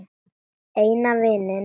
Eina vininn.